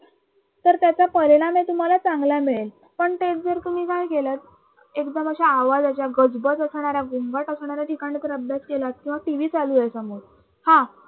तर त्याचा परिणामही तुम्हाला चांगला मिळेल पण तेच जर तुम्ही काय केलत एकदम अश्या आवाज ह्याच्यात गजबज असणाऱ्या गोंगाट असणाऱ्या ठिकाणी जर अभ्यास केलात किंवा TV चालू आहे समोर हा